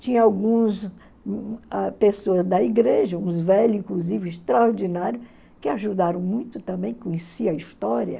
Tinha alguns ãh pessoas da igreja, alguns velhos, inclusive, extraordinários, que ajudaram muito também, conheciam a história.